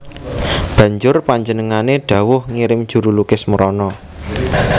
Banjur panjenengané dhawuh ngirim juru lukis mrana